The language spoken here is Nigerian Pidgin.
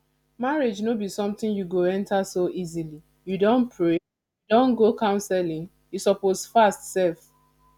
marriage no be something you go enter so easily you don pray you don go counselling you suppose fast sef